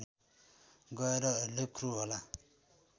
गएर लेख्नुहोला